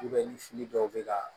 ni fili dɔw be ka